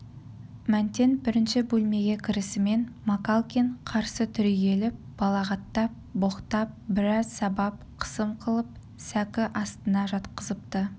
мәнтен бірінші бөлмеге кірісімен макалкин қарсы түрегеліп балағаттап боқтап біраз сабап қысым қылып сәкі астына жатқызыпты